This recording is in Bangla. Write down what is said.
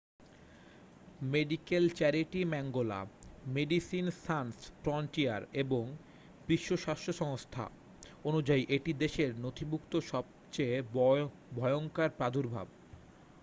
মেডিকেল চ্যারিটি ম্যাঙ্গোলা মেডিসিনস সানস ফ্রন্টিয়ার এবং বিশ্ব স্বাস্থ্য সংস্থা অনুযায়ী এটি দেশে নথিভুক্ত সবচেয়ে ভয়ঙ্কর প্রাদুর্ভাব